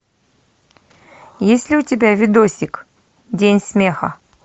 есть ли у тебя видосик день смеха